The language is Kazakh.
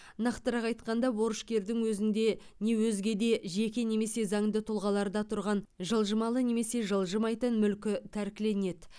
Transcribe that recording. нақтырақ айтқанда борышкердің өзінде не өзге де жеке немесе заңды тұлғаларда тұрған жылжымалы немесе жылжымайтын мүлкі тәркіленеді